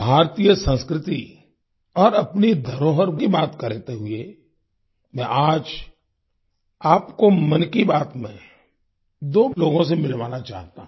भारतीय संस्कृति और अपनी धरोहर की बात करते हुए मैं आज आपको मन की बात में दो लोगों से मिलवाना चाहता हूं